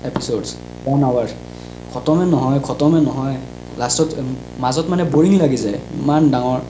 episodes one hour খতম এ নহই খতম এ নহই last উম মাজত মানে boring লাগি যাই ইমান ডাঙৰ